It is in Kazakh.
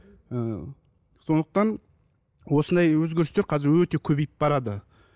ііі сондықтан осындай өзгерістер қазір өте көбейіп барады